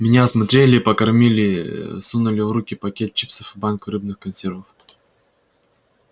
меня осмотрели и покормили сунули в руки пакет чипсов и банку рыбных консервов